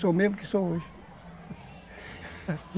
Sou o mesmo que sou hoje.